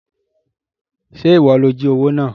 Ṣé ìwọ ló jí owó náà?